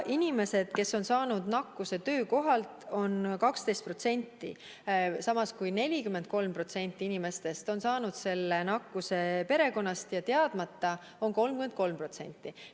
Inimesi, kes on saanud nakkuse töökohalt, on 12%, samas kui 43% inimestest on saanud nakkuse perekonnast ja teadmata on 33%.